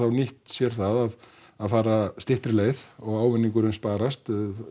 nýtt sér það að fara styttri leið og ávinningurinn sparast